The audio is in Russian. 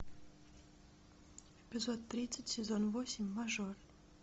эпизод тридцать сезон восемь мажор